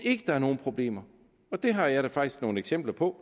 ikke er nogen problemer og det har jeg da faktisk nogle eksempler på